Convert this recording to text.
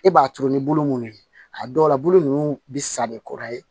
E b'a turu ni bulu ninnu ye a dɔw la bulu ninnu bɛ sa de kɔrɔ ye